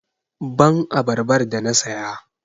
Give me the pineapple i bought!